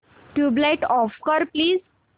tubelight off कर please